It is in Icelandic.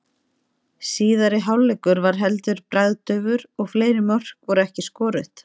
Síðari hálfleikur var heldur bragðdaufur og fleiri mörk voru ekki skoruð.